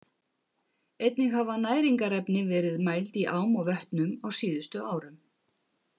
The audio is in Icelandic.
Einnig hafa næringarefni verið mæld í ám og vötnum á síðustu árum.